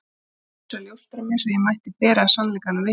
En Guð kaus að ljósta mig, svo ég mætti bera sannleikanum vitni.